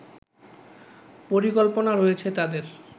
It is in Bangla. পরিকল্পনা রয়েছে তাদের